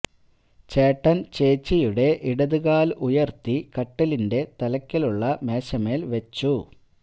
ചേട്ടന് ചേച്ചിയുടെ ഇടതുകാല് ഉയര്ത്തി കട്ടിലിന്റെ തലക്കല് ഉള്ള മേശമേല് വെച്ചു